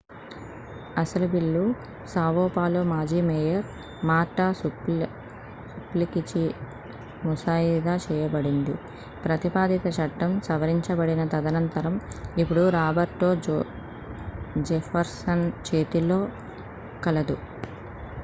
అసలు బిల్లు Sao Paulo మాజీ మేయర్ మార్టా సుప్లికీచే ముసాయిదా చేయబడింది ప్రతిపాదిత చట్టం సవరించబడిన తదనంతరం ఇప్పుడు రాబర్టో జెఫర్సన్ చేతిలో కలదు